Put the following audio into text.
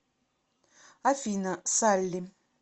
афина салли